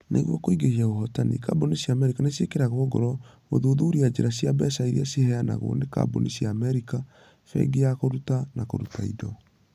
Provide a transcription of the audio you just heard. Nĩguo kũingĩhia ũhotani, kambuni cia Amerika nĩ ciĩkĩragwo ngoro gũthuthuria njĩra cia mbeca iria ciheanagwo nĩ kambuni cia Amerika. Bengi ya Kũruta na Kũruta Indo.